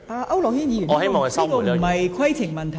區諾軒議員，這不是規程問題。